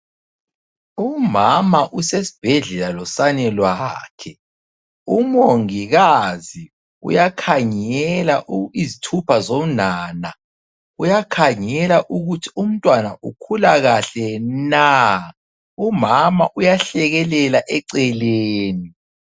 Umama usesibhedlela losane lwakhe. Umongikazi uyakhangela izithupha zonana, uyakhangela ukuthi umntwana ukhula kahle na. Umama uyahlekelela eceleni.